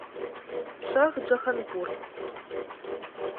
шахджаханпур